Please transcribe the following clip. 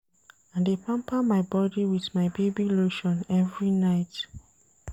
I dey pamper my body wit my baby lotion every night.